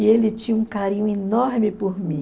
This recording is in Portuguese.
E ele tinha um carinho enorme por mim.